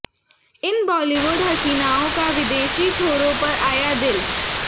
इन बॉलीवुड हसीनाओं का विदेशी छोरों पर आया दिल